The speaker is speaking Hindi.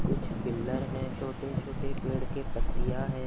कुछ पिल्लर है छोटे छोटे पेड़ के पत्तीया है।